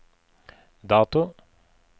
dato